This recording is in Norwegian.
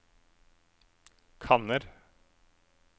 kanner